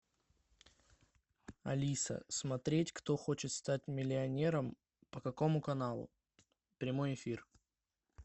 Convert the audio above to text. алиса смотреть кто хочет стать миллионером по какому каналу прямой эфир